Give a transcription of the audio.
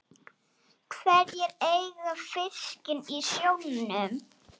Hverjir eiga fiskinn í sjónum?